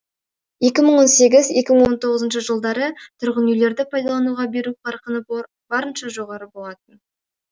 екі мың он сегіз екі мың он тоғызыншы жылдары тұрғын үйлерді пайдалануға беру қарқыны барынша жоғары болатын